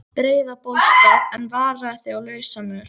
Breiðabólsstað, en varaðu þig á lausamöl.